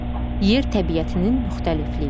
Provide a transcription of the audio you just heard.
Yer təbiətinin müxtəlifliyi.